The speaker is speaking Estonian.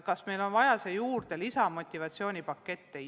Kas meil on vaja siia juurde lisamotivatsioonipakette?